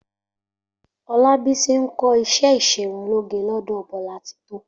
Olábísí ń kó̩ is̩é ìs̩erunlóge ló̩dò̩ Bo̩látitó